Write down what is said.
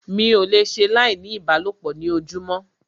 Mi ò le ṣe láì ní ìbálòpọ̀ ní ojúmọ́.